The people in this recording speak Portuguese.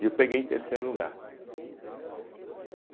E eu peguei em terceiro lugar.